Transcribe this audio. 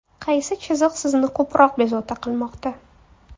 Qaysi chiziq sizni ko‘proq bezovta qilmoqda?